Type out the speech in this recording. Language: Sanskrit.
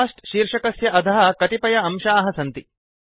कोस्ट शीर्षकस्य अधः कतिपय अंशाः सन्ति